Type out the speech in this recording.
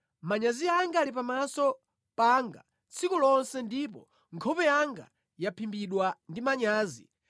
Manyazi anga ali pamaso panga tsiku lonse ndipo nkhope yanga yaphimbidwa ndi manyazi